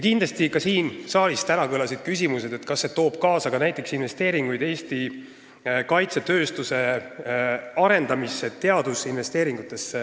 Ka siin saalis kõlasid täna küsimused, kas see toob kaasa näiteks investeeringuid Eesti kaitsetööstuse arendamisse ehk teadusinvesteeringuid.